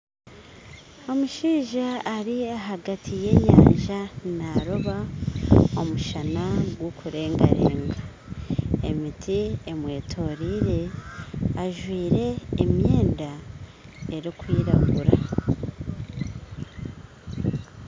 Omushaija ari ahagati y'enyanja naaroba omushana gukurengarenga, emiti emwetorire ajwire emyenda erikwiragura.